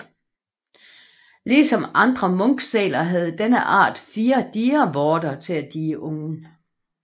Ligesom andre munkesæler havde denne art fire dievorter til at die ungen